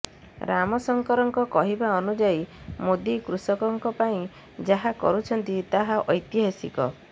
ରାମଶଙ୍କରଙ୍କ କହିବା ଅନୁଯାୟୀ ମୋଦି କୃଷକଙ୍କ ପାଇଁ ଯାହା କରୁଛନ୍ତି ତାହା ଐତିହାସିକ